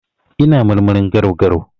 Ina marmarin garau-garau.